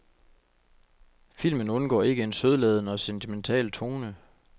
Filmen undgår ikke en sødladen og sentimental tone.